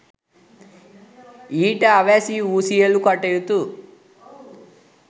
ඊට අවැසි වූ සියලු කටයුතු